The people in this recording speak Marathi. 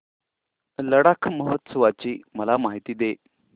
लडाख महोत्सवाची मला माहिती दे